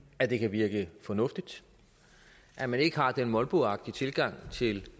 at det kan virke fornuftigt at man ikke har den molboagtige tilgang til